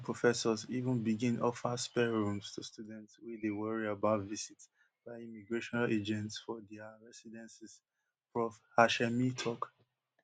georgetown professors even begin offer spare rooms to students wey dey worry about visit by immigration agents for dia residences prof hashemi tok